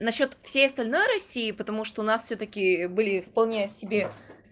насчёт всей остальной россии потому что у нас всё-таки были вполне себе